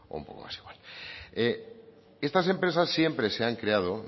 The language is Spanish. un poco más igual estas empresas siempre se han creado